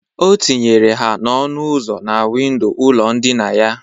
O tinyere ha n'ọnụ uzo na windo ụlọ ndịna ya.